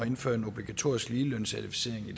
at indføre en obligatorisk ligelønscertificering i